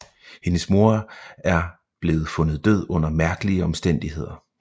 Hendes mor er blevet fundet død under mærkelige omstændigheder